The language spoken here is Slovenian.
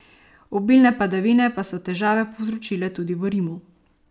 Obilne padavine pa so težave povzročile tudi v Rimu.